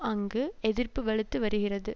அங்கு எதிர்ப்பு வலுத்து வருகிறது